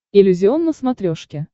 иллюзион на смотрешке